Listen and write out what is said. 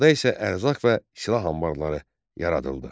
Qalada isə ərzaq və silah anbarları yaradıldı.